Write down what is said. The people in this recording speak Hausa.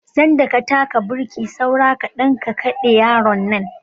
Sanda ka taka burki saura kaɗan ka kaɗe yaron nan.